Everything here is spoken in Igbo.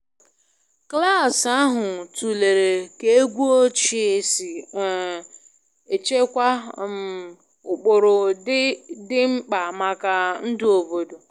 Klasi ahụ tụlere ka egwu ochie si um echekwa um ụkpụrụ dị mkpa maka ndụ obodo